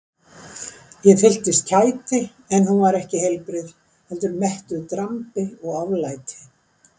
Ég fylltist kæti en hún var ekki heilbrigð heldur mettuð drambi og oflæti.